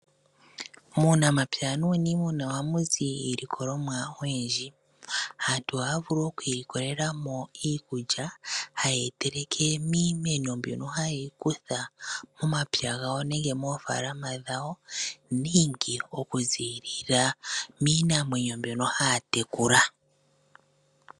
Muunamapya nuunimuna ohamu zi iilikolomwa oyindji . Aantu ohaya vulu okwiilikolela mo iikulya haye yi teleke miimeno mbyono haye yi kutha momapya gawo nenge moofaalama dhawo nenge oku ziilila miinamwenyo mbyono haa tekula.